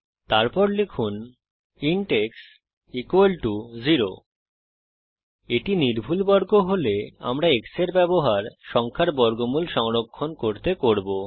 তারপর লিখুন int x 0 এটি নির্ভুল বর্গ হলে আমরা x এর ব্যবহার সংখ্যার বর্গমূল সংরক্ষণ করতে করব